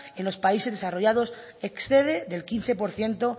en los países desarrollados excede del quince por ciento